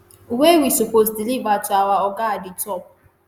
wey we suppose deliver to our oga at di top.